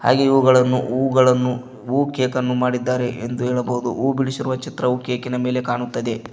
ಹಾಗೆ ಇವುಗಳನ್ನು ಹೂಗಳನ್ನು ಹೂಕೇಕನ್ನು ಮಾಡಿದ್ದಾರೆ ಎಂದು ಹೇಳಬೋದು ಹೂ ಬಿಡಿಸಿರುವ ಚಿತ್ರವು ಕೇಕಿನ ಮೇಲೆ ಕಾಣುತ್ತದೆ.